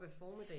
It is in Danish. Op ad formiddagen